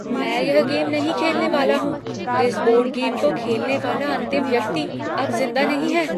मैं यह गेम नहीं खेलने वाला हूँ। इस बोर्ड गेम को खेलने वाला अंतिम व्यक्ति अब जिंदा नहीं है।